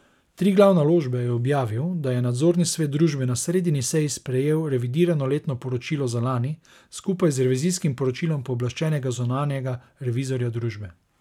Triglav Naložbe je objavil, da je nadzorni svet družbe na sredini seji sprejel revidirano letno poročilo za lani, skupaj z revizijskim poročilom pooblaščenega zunanjega revizorja družbe.